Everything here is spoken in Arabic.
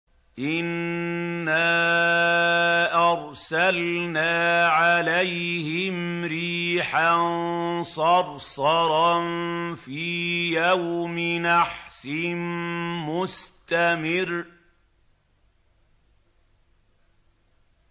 إِنَّا أَرْسَلْنَا عَلَيْهِمْ رِيحًا صَرْصَرًا فِي يَوْمِ نَحْسٍ مُّسْتَمِرٍّ